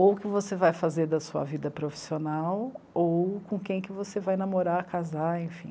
Ou o que você vai fazer da sua vida profissional, ou com quem você vai namorar, casar, enfim.